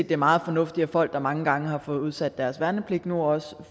det er meget fornuftigt at folk der mange gange har fået udsat deres værnepligt nu også